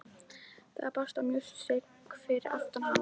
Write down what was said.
Það brast á músík fyrir aftan hana.